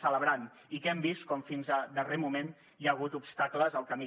celebrant i que hem vist com fins al darrer moment hi ha hagut obstacles al camí